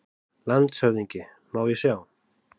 LANDSHÖFÐINGI: Má ég sjá?